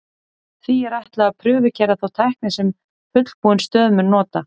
Því er ætlað að prufukeyra þá tækni sem fullbúin stöð mun nota.